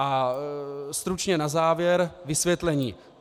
A stručně na závěr - vysvětlení.